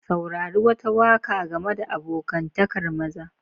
Saurari wata waka game da abokantakar maza.